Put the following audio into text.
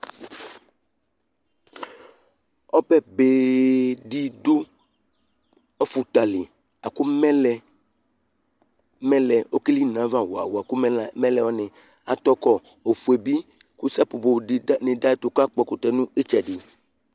Ɔbɛbe dɩ dʋ ɔfʋta li la kʋ mɛlɛ, mɛlɛ ɔkeli nʋ ayava wa-wa-wa La kʋ mɛlɛ wanɩ atɔ kɔ, ofue bɩ kʋ sapopo dɩ dʋ ayɛtʋ kʋ akpɔ ɛkʋtɛ nʋ ɩtsɛdɩ